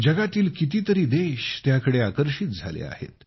जगातील किती तरी देश त्याकडे आकर्षित झाले आहेत